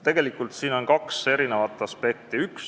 Tegelikult on siin kaks aspekti.